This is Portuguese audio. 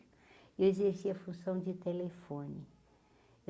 Eu exercia a função de telefone.